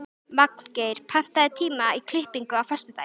Magngeir, pantaðu tíma í klippingu á föstudaginn.